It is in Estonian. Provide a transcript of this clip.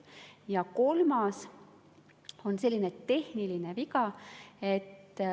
Ja kolmas on selline tehniline.